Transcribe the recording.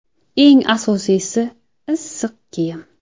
Eng asosiysi – issiq kiyim.